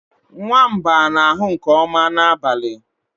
nwamba na-ahụ nke ọma n'abalị